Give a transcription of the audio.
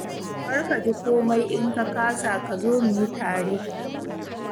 Kar ka ji komai in ka kasa ka zo mu yi tare.